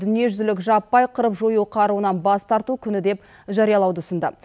дүниежүзілік жаппай қырып жою қаруынан бас тарту күні деп жариялауды ұсынды